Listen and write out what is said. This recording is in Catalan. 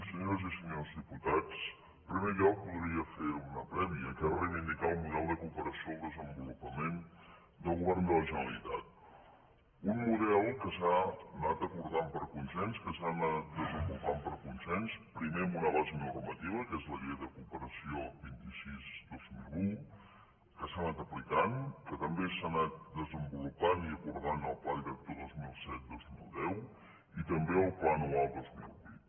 senyores i senyors diputats en primer lloc voldria fer una prèvia que és reivindicar el model de cooperació al desenvolupament del govern de la generalitat un model que s’ha anat acordant per consens que s’ha anat desenvolupant per consens primer amb una base normativa que és la llei de cooperació vint sis dos mil un que s’ha anat aplicant que també s’ha anat desenvolupant i acordant el pla director dos mil set dos mil deu i també el pla anual dos mil vuit